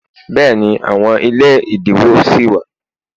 béèni, àwọn ilé idinwo si wa